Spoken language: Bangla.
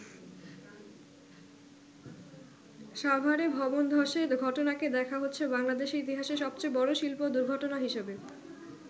সাভারে ভবন ধসের ঘটনাকে দেখা হচ্ছে বাংলাদেশের ইতিহাসে সবচে বড়ো শিল্প দুর্ঘটনা হিসেবে।